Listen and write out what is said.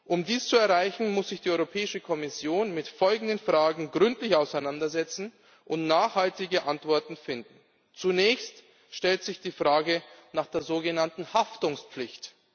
Um dies zu erreichen, muss sich die Europäische Kommission mit folgenden Fragen gründlich auseinandersetzen und nachhaltige Antworten finden Zunächst stellt sich die Frage nach der sogenannten Haftungspflicht.